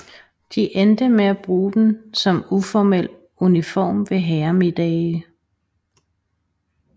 De endte med at bruge den som uformel uniform ved herremiddage